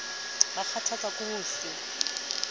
ba kgathatswa ke ho se